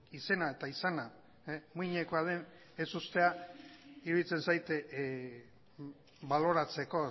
izena eta izana muinekoa den ez uztea iruditzen zait baloratzeko